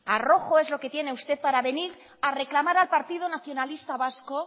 arrojo es lo que tiene usted para venir a reclamar al partido nacionalista vasco